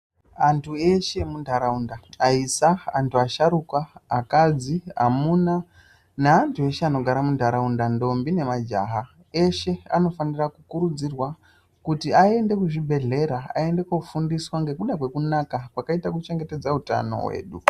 Antu eshe emunharaunda aisa, antu asharukwa, akadzi, amuna neantu eshe anogara munharaunda ndombi nemajaha. Eshe anofanira kurudzirwa kuti aende kuzvibhedhlera aende kofundiswa nekuda kwekunaka kwakaita kuchengetedza utano hwedu.